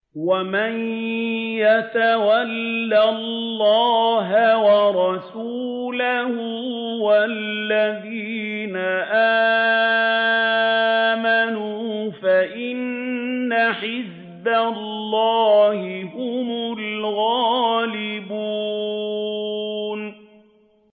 وَمَن يَتَوَلَّ اللَّهَ وَرَسُولَهُ وَالَّذِينَ آمَنُوا فَإِنَّ حِزْبَ اللَّهِ هُمُ الْغَالِبُونَ